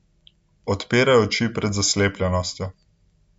Odpirajo oči pred zaslepljenostjo.